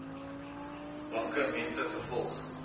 banke mense vervolg